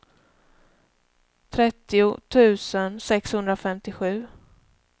trettio tusen sexhundrafemtiosju